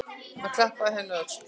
Hann klappaði henni á öxlina.